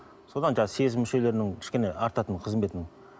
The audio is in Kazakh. содан жаңағы сезім мүшелерінің кішкене артатыны қызметінің